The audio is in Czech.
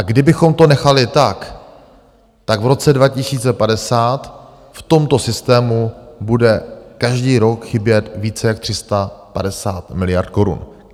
A kdybychom to nechali tak, tak v roce 2050 v tomto systému bude každý rok chybět více jak 350 miliard korun.